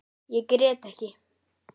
Ég grét ekki.